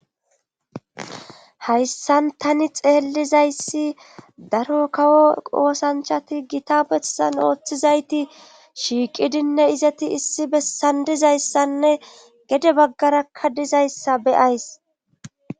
hayssan tani xeellizayssi daro kawo qoosanchati gita bessan ooththizayti shiiqidinne izati issi bessandizayssanne gede baggarakka dizayssa beyays